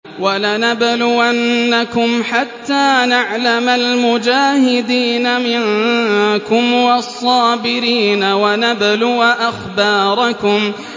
وَلَنَبْلُوَنَّكُمْ حَتَّىٰ نَعْلَمَ الْمُجَاهِدِينَ مِنكُمْ وَالصَّابِرِينَ وَنَبْلُوَ أَخْبَارَكُمْ